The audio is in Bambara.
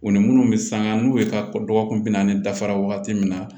U ni minnu bɛ sanga n'u ye ka dɔgɔkun bi naani dafara wagati min na